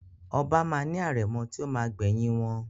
Oba ma ni arẹ̀mọ ti o ma gbẹ̀yìn wọn.